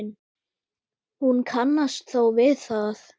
Hún kannast þó við það.